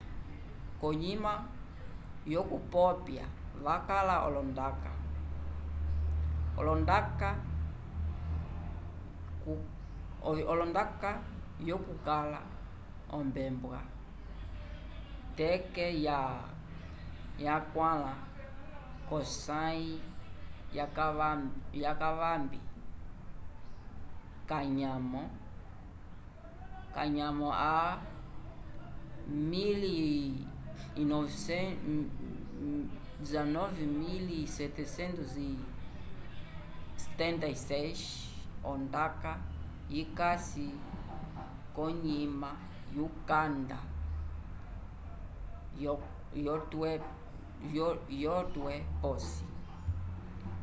konyima yo kupopya vakala olondaka olondaka yo kukala ombembwa kete ya 4 kosayi ya kavambi ka nyamo ya 19776 ondaka yikasi konyima yukanda yo twe posi